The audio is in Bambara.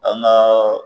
An ka